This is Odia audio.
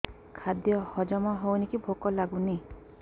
ଖାଦ୍ୟ ହଜମ ହଉନି କି ଭୋକ ଲାଗୁନି